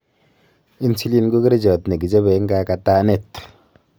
insulin ko kerchat nekichobe eng kaagaataneet